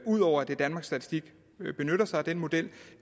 ud over at danmarks statistik benytter sig af den model